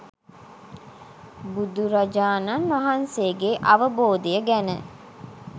බුදුරජාණන් වහන්සේගේ අවබෝධය ගැන